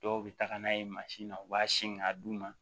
Dɔw bɛ taga n'a ye mansin na u b'a sin k'a d'u ma